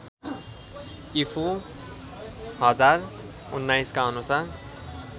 ईपू १०१९ का अनुसार